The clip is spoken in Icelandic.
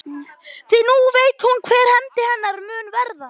Því nú veit hún hver hefnd hennar mun verða.